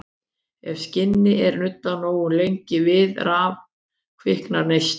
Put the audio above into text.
Ef skinni er nuddað nógu lengi við raf kviknar neisti.